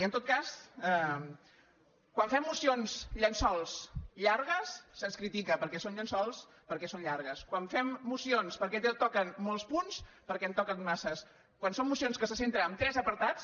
i en tot cas quan fem mocions llençol llargues se’ns critica perquè són llençols perquè són llargues quan fem mocions perquè toquen molts punts perquè en toquen massa quan són mocions que se centren en tres apartats